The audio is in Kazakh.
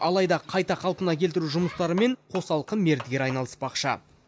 алайда қайта қалпына келтіру жұмыстарымен қосалқы мердігер айналыспақшы